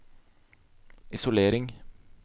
isolering